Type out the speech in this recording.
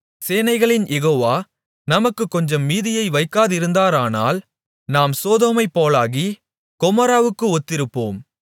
சேனைகளின் யெகோவா நமக்குக் கொஞ்சம் மீதியை வைக்காதிருந்தாரானால் நாம் சோதோமைப்போலாகி கொமோராவுக்கு ஒத்திருப்போம்